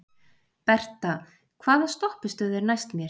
Berta, hvaða stoppistöð er næst mér?